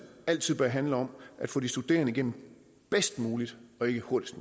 altid bør handle om at få de studerende igennem bedst muligt og ikke hurtigst